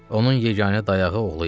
Onun yeganə dayağı oğlu idi.